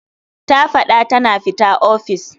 Ta fad'a tana fita office.